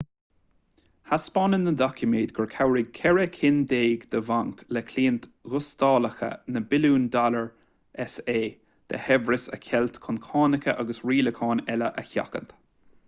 thaispeáin na doiciméid gur chabhraigh ceithre cinn déag de bhainc le cliaint ghustalacha na billiúin dollar sa de shaibhreas a cheilt chun cánacha agus rialacháin eile a sheachaint